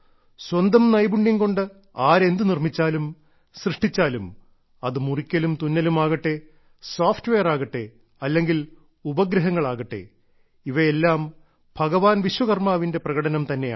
സ്വന്തം നൈപുണ്യം കൊണ്ട് ആര് എന്ത് നിർമ്മിച്ചാലും സൃഷ്ടിച്ചാലും അത് മുറിക്കലും തുന്നലും ആകട്ടെ സോഫ്റ്റ്വെയർ ആകട്ടെ അല്ലെങ്കിൽ ഉപഗ്രഹങ്ങൾ ആകട്ടെ ഇവയെല്ലാം ഭഗവാൻ വിശ്വകർമാവിന്റെ പ്രകടനം തന്നെയാണ്